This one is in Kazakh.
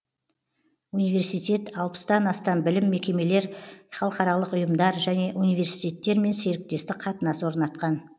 университет алпыстан астам білім мекемелер халықаралық ұйымдар және университеттермен серіктестік қатынас орнатқан